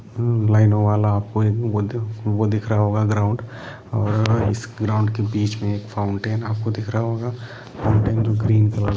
ममम लाइनो वाला आपको वो दिख रहा होगा ग्राउंड और इस ग्राउंड के बिच में एक फाउंटेन आपको दिख रहा होगा फाउंटेन जो ग्रीन --